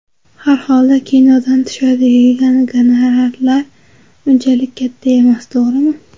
Har holda kinodan tushadigan gonorarlar unchalik katta emas, to‘g‘rimi?